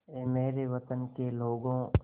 ऐ मेरे वतन के लोगों